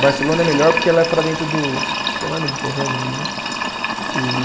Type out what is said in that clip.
Barcelona é melhor porque ela é para dentro do. Acho que é Mar Mediterrâneo ali, né? E